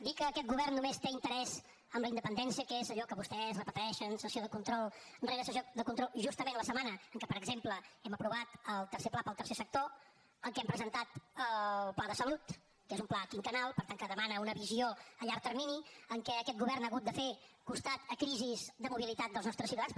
dir que aquest govern només té interès en la independència que és allò que vostès repeteixen sessió de control rere sessió de control justament la setmana en què per exemple hem aprovat el tercer pla per al tercer sector en què em presentat el pla de salut que és un pla quinquennal per tant que demana una visió a llarg termini en què aquest govern ha hagut de fer costat a crisis de mobilitat dels nostres ciutadans